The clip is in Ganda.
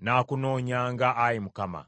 “Nnaakunoonyanga, Ayi Mukama .”